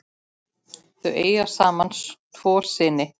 Eiga þau saman tvo syni.